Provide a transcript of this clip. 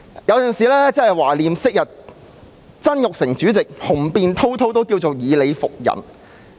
有時候真的懷念昔日曾鈺成主席，他雄辯滔滔，以理服人。